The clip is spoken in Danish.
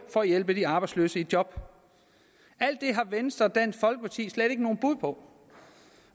for at hjælpe de arbejdsløse i job alt det har venstre og dansk folkeparti slet ikke nogen bud på